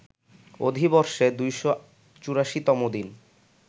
অধিবর্ষে ২৮৪ তম দিন